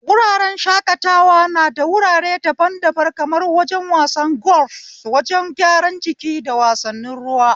Wuraren shakatawa nada wurare daban-daban kamar wajen wasan golf, wajen gyaran jiki, da wasannin ruwa.